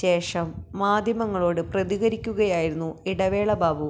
ശേഷം മാധ്യമങ്ങളോട് പ്രതികരിക്കുകയായിരുന്നു ഇടവേള ബാബു